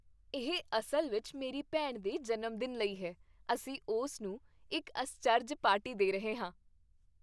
ਇਹ ਅਸਲ ਵਿੱਚ ਮੇਰੀ ਭੈਣ ਦੇ ਜਨਮ ਦਿਨ ਲਈ ਹੈ। ਅਸੀਂ ਉਸ ਨੂੰ ਇੱਕ ਅਸਚਰਜ ਪਾਰਟੀ ਦੇ ਰਹੇ ਹਾਂ।